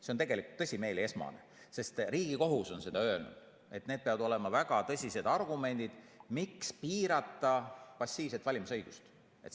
See on tegelikult tõsimeeli esmane, sest Riigikohus on öelnud, et peavad olema väga tõsised argumendid, miks piirata passiivset valimisõigust.